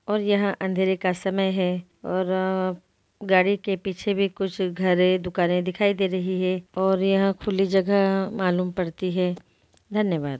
और यहाँ अँधेरे का समय है और गाड़ी के पीछे भी कुछ घर हैं दुकानें दिखाई दे रही है और यहाँ खुली जगह मालूम पड़ती है धन्यवाद।